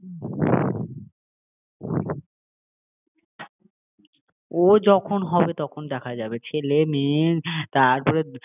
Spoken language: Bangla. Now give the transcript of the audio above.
তোমাকে যখন ধরে ক্যালাবে মামা মামা করে তখন হবে তোমার অবস্থা খারাপ ও যখন হবে তখন দেখা যাবে ছেলে মেয়ে তারপরে